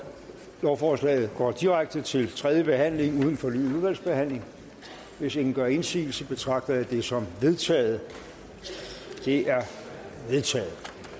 lovforslaget går direkte til tredje behandling uden fornyet udvalgsbehandling hvis ingen gør indsigelse betragter jeg det som vedtaget det er vedtaget